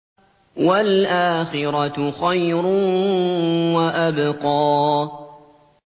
وَالْآخِرَةُ خَيْرٌ وَأَبْقَىٰ